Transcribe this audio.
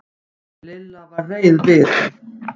Lilla var reið við